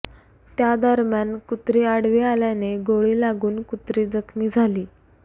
त्यादरम्यान कुत्री आडवी आल्याने गोळी लागून कुत्री जखमी झाली